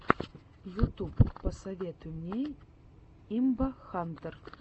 ютуб посоветуй мне имбахантэр